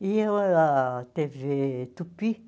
E ah tê vê Tupi